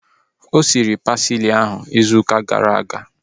O siri pasili ahu izu ụka gara aga